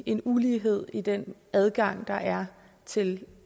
en ulighed i den adgang der er til